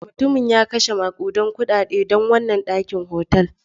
Mutumin ya kashe makudan kudade don wannan dakin hotel.